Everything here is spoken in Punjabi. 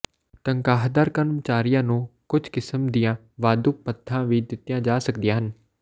ਤਨਖਾਹਦਾਰ ਕਰਮਚਾਰੀਆਂ ਨੂੰ ਕੁਝ ਕਿਸਮ ਦੀਆਂ ਵਾਧੂ ਭੱਤਾ ਵੀ ਦਿੱਤੀਆਂ ਜਾ ਸਕਦੀਆਂ ਹਨ